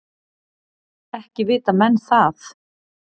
Ekki vita menn það.